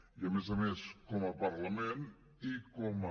i a més a més com a parlament i com a